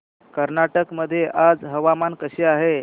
कर्नाटक मध्ये आज हवामान कसे आहे